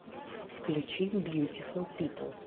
включи бьютифул пипл